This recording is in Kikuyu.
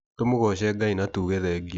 Tũmũgoce Ngai na tuge thengio.